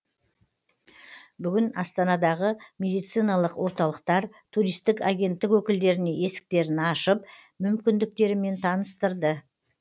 бүгін астанадағы медициналық орталықтар туристік агенттік өкілдеріне есіктерін ашып мүмкіндіктерімен таныстырды